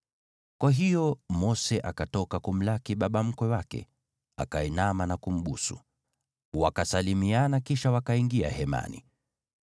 Kwa hiyo Mose akatoka kumlaki baba mkwe wake, akainama na kumbusu. Wakasalimiana, kisha wakaingia hemani.